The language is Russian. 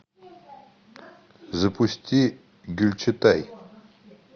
запусти гюльчатай